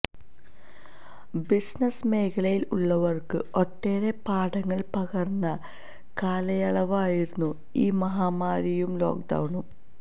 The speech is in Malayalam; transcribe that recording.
ബിസിനസ് മേഖലയിൽ ഉള്ളവർക്ക് ഒട്ടേറെ പാഠങ്ങൾ പകർന്ന കാലയളവായിരുന്നു ഈ മഹാമാരിയും ലോക്ഡൌണും